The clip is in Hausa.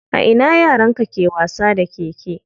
A ina yaran ke wasa da keke?